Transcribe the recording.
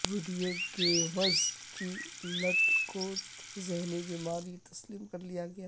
video games کی لت کو ذہنی بیماری تسلیم کر لیا گیا